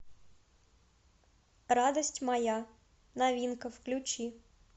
радость моя новинка включи